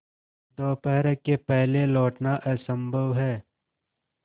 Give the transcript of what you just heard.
दोपहर के पहले लौटना असंभव है